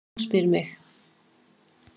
Og spyr mig: